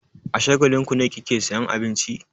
A Shagalinku ne kike sayan abinci?